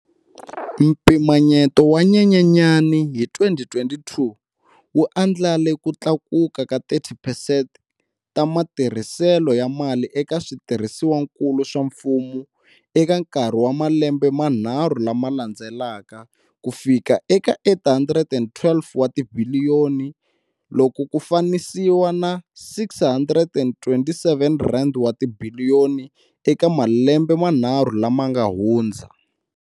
Mpimanyeto wa Nyenyenyana hi 2022 wu andlale ku tlakuka ka 30 percent ta matirhiselo ya mali eka swi tirhisiwakulu swa mfumo eka nkarhi wa malembe manharhu lama landzelaka kufika eka R812 wa tibi liyoni, loko ku fananisiwa na R627 wa tibiliyoni eka malembe manharhu lama nga hundza.